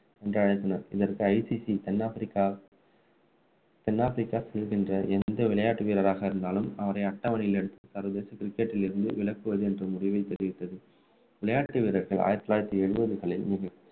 என்று அழைத்தனர் இதற்கு ICC தென் ஆப்பிரிக்கா தென் ஆப்பிரிக்கா செல்கின்ற எந்த விளையாட்டு வீரராக இருந்தாலும் அவரை அட்டவணையில் சர்வதேச cricket டில் இருந்து விளக்குவது என்ற முடிவை தெரிவித்தது விளையாட்டு வீரர்கள் ஆயிரத்து தொள்ளாயிரத்து எழுபதுகளில்